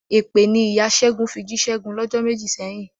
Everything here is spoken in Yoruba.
Èpè ni ìya Ṣẹ́gun fi jí Ṣẹ́gun lọ́jọ́ méjì sẹ́yìn.